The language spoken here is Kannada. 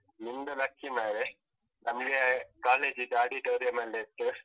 ನಿಮ್ದು lucky ಮಾರ್ರೆ, ನಮ್ಗೆ college ಅದ್ದು auditorium ಅಲ್ಲೇ ಇತ್ತು.